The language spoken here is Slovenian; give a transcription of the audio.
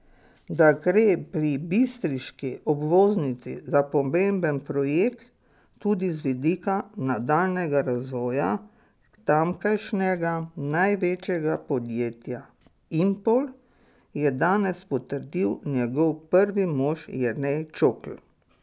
Da gre pri bistriški obvoznici za pomemben projekt tudi z vidika nadaljnjega razvoja tamkajšnjega največjega podjetja Impol, je danes potrdil njegov prvi mož Jernej Čokl.